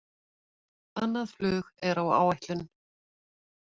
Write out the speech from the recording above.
Annað flug er á áætlun